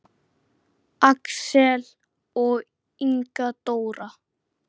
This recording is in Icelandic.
Axel og Inga Dóra.